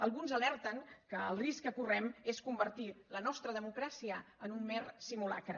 alguns alerten que el risc que correm és convertir la nostra democràcia en un mer simulacre